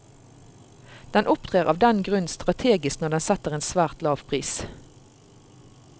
Den opptrer av den grunn strategisk når den setter en svært lav pris.